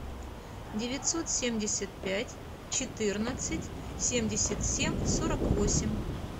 девятьсот семьдесят пять четырнадцать семьдесят семь сорок восемь